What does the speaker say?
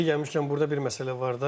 Yeri gəlmişkən burda bir məsələ var da.